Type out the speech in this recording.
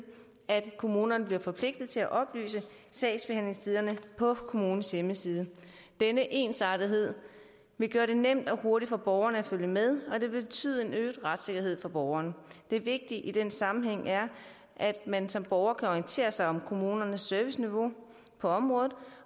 at kommunerne bliver forpligtet til at oplyse sagsbehandlingstiderne på kommunens hjemmeside denne ensartethed vil gøre det nemt og hurtigt for borgerne at følge med og det vil betyde en øget retssikkerhed for borgerne det vigtige i den sammenhæng er at man som borger kan orientere sig om kommunernes serviceniveau på området